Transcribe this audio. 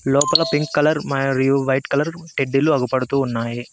లోపల pink colour మరియు white colour టెడ్డీలు అగుపడుతూ ఉన్నాయి.